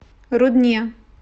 рудне